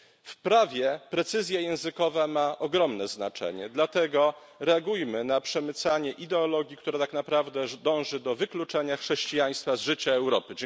W prawie precyzja językowa ma ogromne znaczenie, dlatego reagujmy na przemycanie ideologii, która tak naprawdę dąży do wykluczenia chrześcijaństwa z życia Europy.